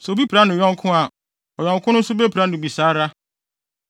Sɛ obi pira ne yɔnko a, ɔyɔnko no nso bepira no bi saa ara.